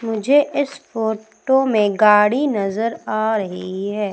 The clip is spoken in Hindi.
मुझे इस फोटो में गाड़ी नजर आ रही है।